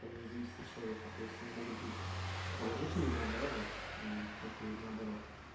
не зависит от человека то есть они могут быть как положительными да так и наоборот